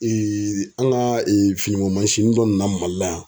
an ka finiko dɔ nana Mali la yan.